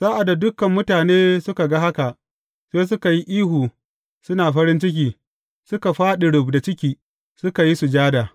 Sa’ad da dukan mutane suka ga haka, sai suka yi ihu suna farin ciki, suka fāɗi rubda ciki, suka yi sujada.